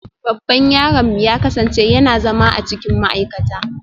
Babban yaronmu ya kasance yana zama a cikin ma'aikata